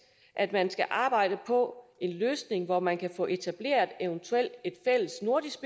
at man skal arbejde på en løsning hvor man kan få etableret et eventuelt fælles nordisk